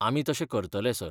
आमी तशें करतले, सर.